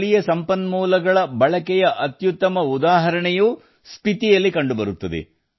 ಸ್ಥಳೀಯ ಸಂಪನ್ಮೂಲಗಳ ಬಳಕೆಯ ಅತ್ಯುತ್ತಮ ಉದಾಹರಣೆ ಸ್ಪಿತಿಯಲ್ಲಿಯೂ ಕಂಡುಬರುತ್ತದೆ